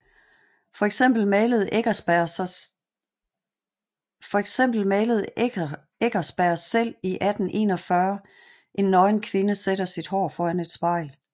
For eksempel malede Eckerberg selv i 1841 En nøgen kvinde sætter sit hår foran et spejl